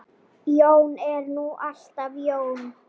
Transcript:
Jón er nú alltaf Jón.